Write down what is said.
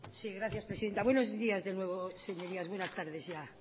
gracias presidenta buenos días de nuevo señorías buenas tardes ya